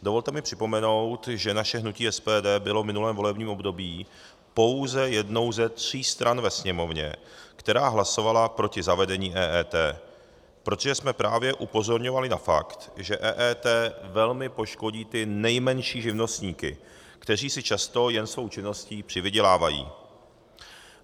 Dovolte mi připomenout, že naše hnutí SPD bylo v minulém volebním období pouze jednou ze tří stran ve Sněmovně, která hlasovala proti zavedení EET, protože jsme právě upozorňovali na fakt, že EET velmi poškodí ty nejmenší živnostníky, kteří si často jen svou činností přivydělávají.